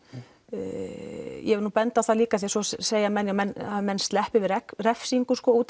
ég vil nú benda á það líka því svo segja menn að menn að menn sleppi við refsingu út